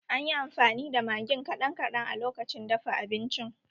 Anyi amfani da magin kaɗan kaɗan a lokacin dafa abincin